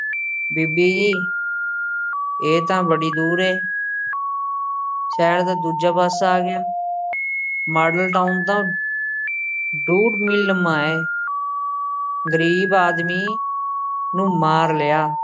ਬੀਬੀ ਜੀ ਇਹ ਤਾਂ ਬੜੀ ਦੂਰ ਏ ਸ਼ਹਿਰ ਦਾ ਦੂਜਾ ਪਾਸਾ ਆ ਗਿਆ ਮਾਡਲ ਟਾਊਨ ਤਾਂ ਡੂਢ ਮੀਲ ਲੰਮਾ ਏ ਗ਼ਰੀਬ ਆਦਮੀ ਨੂੰ ਮਾਰ ਲਿਆ।